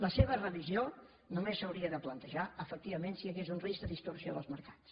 la seva revisió només s’hauria de plantejar efectivament si hi hagués un risc de distorsió dels mercats